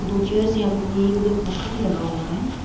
दो चेयर्स यहाँ पर पड़ी है एक उधर पोस्टर भी लगा हुआ है।